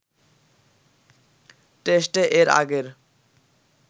টেস্টে এর আগের